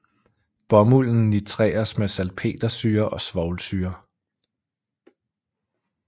Bomulden nitreres med salpetersyre og svovlsyre